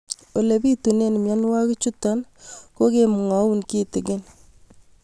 Ole pitune mionwek chutok ko kimwau kitig'ín